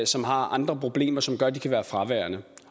som har andre problemer som gør at de kan være fraværende